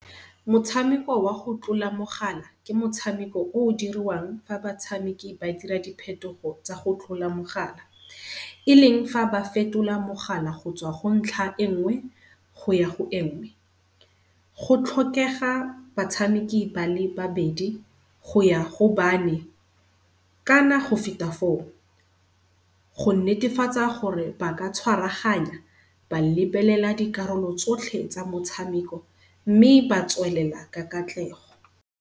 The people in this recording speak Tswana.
Motshameko wa go tlola mogala ke motshameko o o dirwang fa batshameki ba dira diphetogo tsa go tlola mogala. E leng fa ba fetola mogala gotswa go ntlha engwe goya go engwe. Go tlhokega batshameki bale babedi go ya go bane kana go feta foo. Go netefatsa gore ba ka tshwaraganya ba lebelela dikarolo tsotlhe tsa motshameko mme ba tswelela ka katlego.